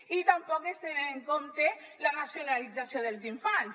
i tampoc es té en compte la nacionalització dels infants